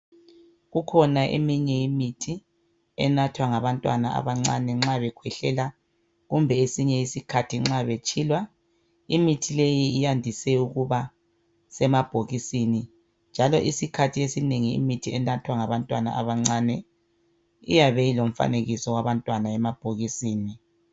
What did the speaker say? Kukhona eyinye imithi enathwa ngabantwana abancane nxa bekhwehlela kumbe kwesinye isikhathi nxa betshilwa. Imithi leyi iyandise ukuba semabhokisini njalo isikhathi esinengi imithi enathwa ngabantwana abacane iyabe ilomfanekiso wabantwana emabhokisini.